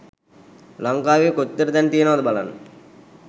ලංකාවේ කොච්චර තැන් තියනවද බලන්න